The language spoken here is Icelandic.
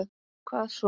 Hvað svo?